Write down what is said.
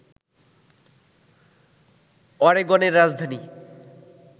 অরেগনের রাজধানী